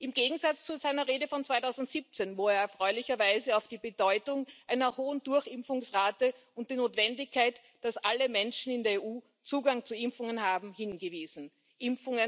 Im Gegensatz zu seiner Rede von 2017, wo er erfreulicherweise auf die Bedeutung einer hohen Durchimpfungsrate und die Notwendigkeit, dass alle Menschen in der EU Zugang zu Impfungen haben, hingewiesen hat.